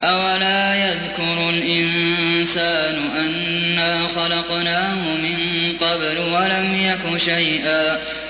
أَوَلَا يَذْكُرُ الْإِنسَانُ أَنَّا خَلَقْنَاهُ مِن قَبْلُ وَلَمْ يَكُ شَيْئًا